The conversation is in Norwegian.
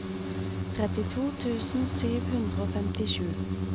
trettito tusen sju hundre og femtisju